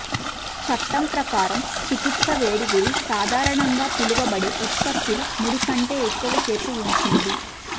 చట్టం ప్రకారం చికిత్స వేడి గురి సాధారణంగా పిలువబడే ఉత్పత్తులు ముడి కంటే ఎక్కువసేపు ఉంచింది